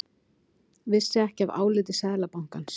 Vissi ekki af áliti Seðlabankans